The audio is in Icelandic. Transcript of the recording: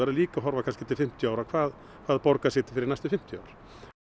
líka að horfa til fimmtíu ára hvað borgar sig fyrir næstu fimmtíu ár